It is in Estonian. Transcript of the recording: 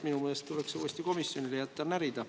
Minu meelest tuleks see jätta uuesti komisjonile närida.